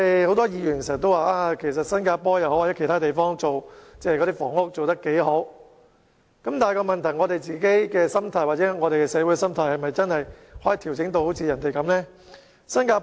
很多議員經常說新加坡或其他地方的房屋政策做得很好，但我們可否把自己或社會的心態調整至像這些地方般？